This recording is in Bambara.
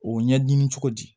O ɲɛɲini cogo di